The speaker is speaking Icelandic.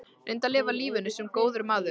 Reyndu að lifa lífinu- sem góður maður.